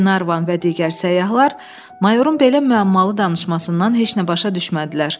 Qlenarvan və digər səyyahlar mayorun belə müəmmalı danışmasından heç nə başa düşmədilər.